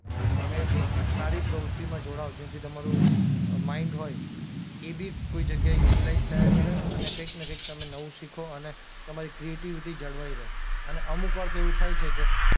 તમે એક સારી પ્રવૃત્તિમાં જોડાઓ જેથી તમારું માઈન્ડ હોય એ બી કોઈ જગ્યાએ યુટીલાઈઝ થયા કરે અને કઈંક ને કઈંક તમે નવું શીખો અને તમારી ક્રિએટિવિટી જળવાઈ રહે અને અમુક વાર તો એવું થાય છે કે